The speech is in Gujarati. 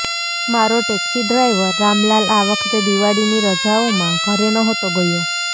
મારો ટેક્સી ડ્રાઇવર રામલાલ આ વખતે દિવાળીની રજાઓમાં ઘરે નહોતો ગયો